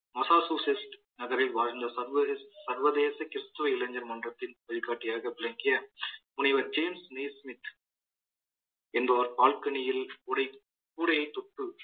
நகரில் வாழ்ந்த சர்வதேச சர்வதேச கிறிஸ்தவ இளைஞர் மன்றத்தின் வழிகாட்டியாக விளங்கிய முனைவர் ஜேம்ஸ் ஸ்மித் என்றோர் பால்கனியில் கூடை~ கூடையைத் தொட்டு